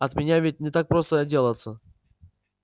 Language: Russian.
от меня ведь не так просто отделаться